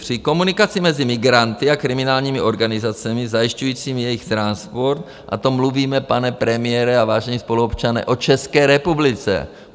Při komunikaci mezi migranty a kriminálními organizacemi zajišťujícími jejich transport - a to mluvíme, pane premiére a vážení spoluobčané, o České republice.